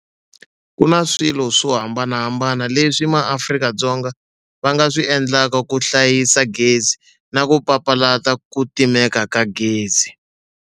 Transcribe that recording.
KU NA SWILO SWO hambanahambana leswi maAfrika-Dzonga va nga swi endlaka ku hlayisa gezi na ku papalata ku timeka ka gezi.